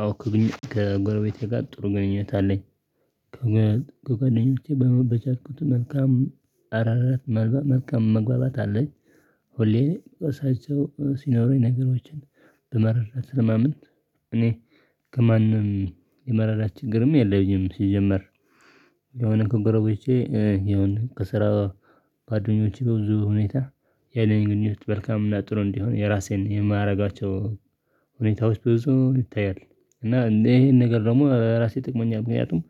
አዎ ከጎረቤቴ ጋር ጥሩ ግንኙነት አለኝ። ከጎረቤቴ በቻልኩት መልካም አራራት መልካም መግባባት አለኝ። ሁሌም እሳቸው ሲኖሩኝ ነገሮችን ብመራ ስለማምንት እኔ ከማንም የመረዳት ችግርም የለም ሲጀመር። የሆነ ኮረቦቼ የሆነ ከስራ ጓደኞቼ በብዙ ሁኔታ ያለኝ ግንኙነት መልካም እና ጥሩ እንዲሆን የራሴን የማያደርጋቸው ሁኔታዎች ብዙ ይታያል። እና እንዲህ ይሄን ነገር ደግሞ ለራሴ ጠቅሞኛል ምክንያቱም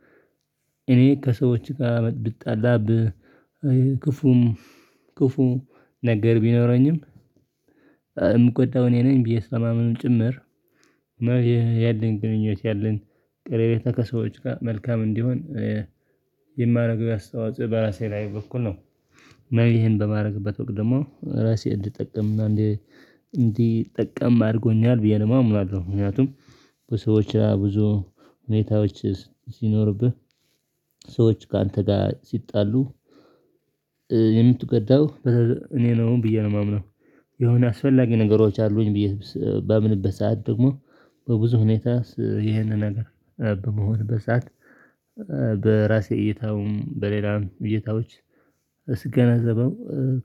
እኔ ከሰዎች ጋር ብጣላ ክፉም ክፉ ነገር ቢኖረኝም የምቆጣው እኔ ነኝ ብዬ ስለማምንም ጭምር እና ያለኝ ግንኙነት ያለኝ ቀረቤታ ከሰዎች ጋር መልካም እንዲሆን የማደርገው እስተዋጽእ በራሴ ላይ በኩል ነው። እና ይሄን በማድረግበት ወቅት ደግሞ ራሴ እንድጠቀም እንዲጠቀም አድርጎኛል ብዬ ነው የማምነው። ምክንያቱም በሰዎች ራሱ ብዙ ሁኔታዎች ሲኖርብህ ሰዎች ካንተ ጋር ሲጣሉ የምትጎዳው እኔ ነው ብዬ ነው የማምነው። የሆነ አስፈላጊ ነገሮች አሉኝ ብዬ ባምንበት ሰዓት ደግሞ በብዙ ሁኔታ ይሄንን ነገር በመሆንበት በሰአት በራሴ እይታውም በሌላ እይታዎች ስገነዘበው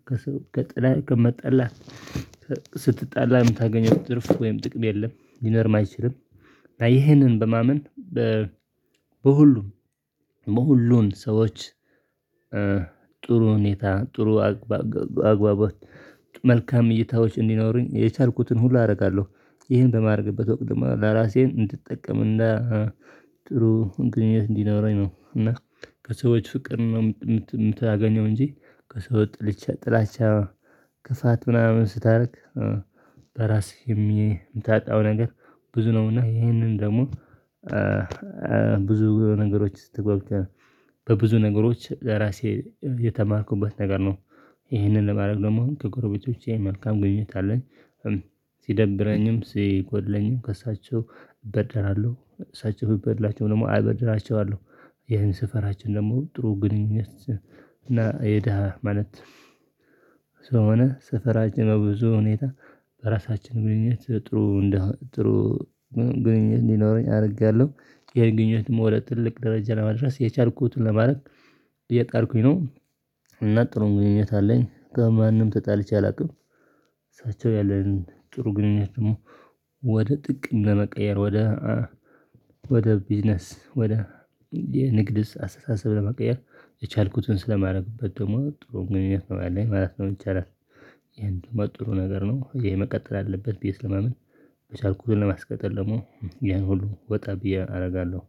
ከጥላ ከመጠላ ከመጣላት ስትጣላ የምታገኘው ትርፍ ወይም ጥቅም የለም ሊኖርም አይችልም። እና ይሄንን በማመን በሁሉም በሁሉን ሰዎች ጥሩ ሁኔታ ጥሩ አግባባት መልካም እይታዎች እንዲኖሩኝ የቻልኩትን ሁሉ አደርጋለሁ። ይህን በማድረግበት ወቅት ለራሴን እንድጠቀምና ጥሩ ግንኙነት እንዲኖረኝ ነው እና ከሰዎች ፍቅር ነው የምታገኘው እንጂ ከሰው ጥልቻ ጥላቻ ክፋት ምናምን ስታደርግ በራሴ የምታጣው ነገር ብዙ ነው። እና ይሄንን ደግሞ ብዙ ነገሮች ስትገባ በብዙ ነገሮች ለራሴ የተማርኩበት ነገር ነው ይህንን ለማድረግ ደግሞ ከጎረቤቶቼ መልካም ግንኙነት አለኝ። ሲደብረኝም ሲጎድለኝም ከእሳቸው እበድራለሁ እሳቸው ቢጎድላቸው ደግሞ አበድራቸዋለሁ። ይሄን ስፈራችን ደግሞ ጥሩ ግንኙነት እና የደሃ ማለት ስለሆነ ሰፈራችን በብዙ ሁኔታ በራሳችን ግንኙነት ጥሩ ጥሩ ግንኙነት እንዲኖረኝ አደርጋለሁ። ይሄን ግንኙነት ወደ ትልቅ ደረጃ ለመድረስ የቻልኩትን ለማድረግ እየጣርኩኝ ነው እና ጥሩ ግንኙነት አለኝ ከማንም ተጣልቼ አላውቅም። እሳቸው ያለን ጥሩ ግንኙነት ደግሞ ወደ ጥቅም ለመቀየር ወደ ወደ ቢዝነስ ወደ የንግድ አስተሳሰብ ለመቀየር የቻልኩትን ስለማድረግበት ደግሞ ጥሩ ግንኙነት ነው ያለኝ ማለት ነው። የሚቻላት ይሄን ጥሩ ነገር ነው ይሄ መቀጠል አለበት ብዪ ስለማምን የቻልኩትን ለማስቀጠል ደግሞ ያን ሁሉ ወጣ ብዬ አደርጋለሁ